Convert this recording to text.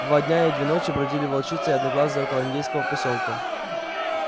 два дня и две ночи бродили волчица и одноглазый около индейского посёлка